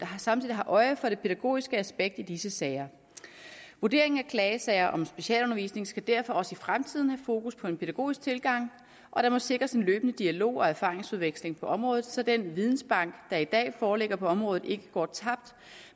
samtidig har øje for det pædagogiske aspekt i disse sager vurderingen af klagesager om specialundervisning skal derfor også i fremtiden have fokus på en pædagogisk tilgang og der må sikres en løbende dialog og erfaringsudveksling på området så den videnbank der i dag foreligger på området ikke går tabt